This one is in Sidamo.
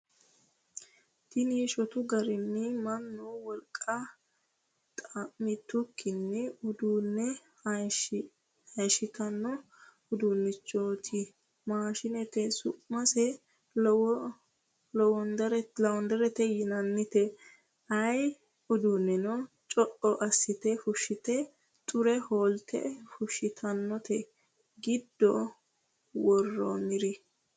Tini shotu garinni mannu wolqa xa'mitukkinni uduune hayishittano uduunichoti Maashinete su'mase lowanderete yinannite ayee uduuneno co"o assite fushite xure holte fushittanote giddo woriro.